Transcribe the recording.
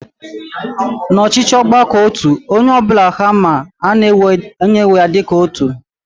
Na ọchịchị ọgbakọotu, onye ọbụla haa ma ana ewee ha dịka otu